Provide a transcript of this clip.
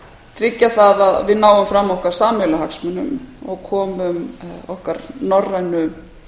tryggja það að við náum fara okkar sameiginlegu hagsmunum og komum okkar norrænu